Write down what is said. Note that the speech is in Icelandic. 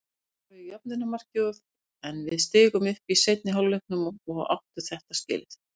Þeir skoruðu jöfnunarmarkið en við stigum upp í seinni hálfleiknum og áttu þetta skilið.